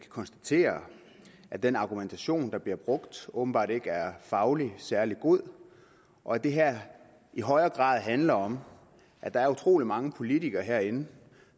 konstatere at den argumentation der bliver brugt åbenbart ikke er fagligt særlig god og at det her i højere grad handler om at der er utrolig mange politikere herinde